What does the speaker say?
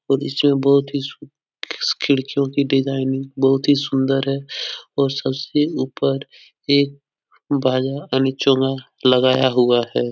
और इसमें बहोत ही सूं खिस खिड़कियों की डिजाइनिंग बहुत ही सुन्दर है और सबसे ऊपर एक बाजा यानि चोंगा लगाया हुआ है।